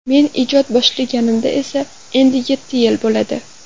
Men ijod boshlaganimga esa endi yetti yil bo‘ladi.